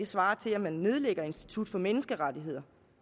svarer til at man nedlægger institut for menneskerettigheder